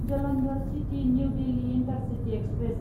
Jalandhar city New Delhi intercity express